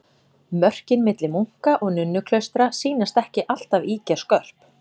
Mörkin milli munka- og nunnuklaustra sýnast ekki alltaf ýkja skörp.